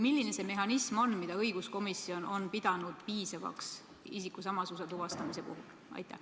Milline on see mehhanism, mida õiguskomisjon on pidanud piisavaks isikusamasuse tuvastamise puhul?